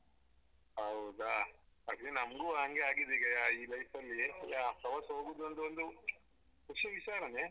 ಹೌದಾ ಅದೇ ನಮ್ಗು ಹಂಗೆ ಆಗಿದೆ ಈಗ ಈ life ಅಲ್ಲಿ ಪ್ರವಾಸ ಹೋಗುದು ಅಂದ್ರೆ ಒಂದು ವಿಶೇಷ ತರನೇ.